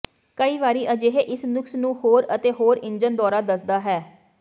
ਕਈ ਵਾਰੀ ਅਜਿਹੇ ਇੱਕ ਨੁਕਸ ਨੂੰ ਹੋਰ ਅਤੇ ਹੋਰ ਇੰਜਣ ਦੌਰਾ ਦੱਸਦਾ ਹੈ